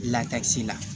la